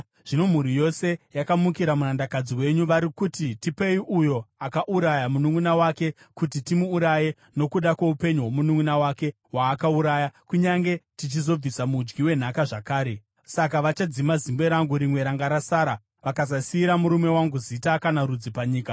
Zvino mhuri yose yamukira murandakadzi wenyu. Vari kuti, ‘Tipei uyo akauraya mununʼuna wake, kuti timuuraye nokuda kwoupenyu hwomununʼuna wake waakauraya; kunyange tichizobvisa mudyi wenhaka zvakare.’ Saka vachadzima zimbe rangu rimwe ranga rasara, vakasasiyira murume wangu zita kana rudzi panyika.”